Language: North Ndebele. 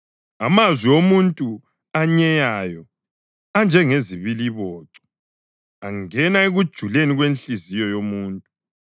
Amazwi omuntu onyeyayo anjengezibiliboco; angena ekujuleni kwenhliziyo yomuntu.